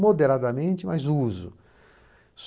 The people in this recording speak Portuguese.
Moderadamente, mas uso.